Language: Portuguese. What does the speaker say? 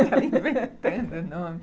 Ela inventando o nome.